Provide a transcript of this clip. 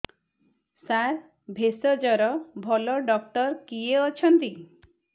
ସାର ଭେଷଜର ଭଲ ଡକ୍ଟର କିଏ ଅଛନ୍ତି